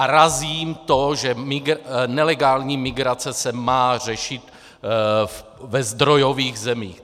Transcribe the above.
A razím to, že nelegální migrace se má řešit ve zdrojových zemích.